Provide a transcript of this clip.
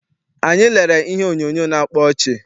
Anyị lerere ihe onyoonyo na-akpa ọchị.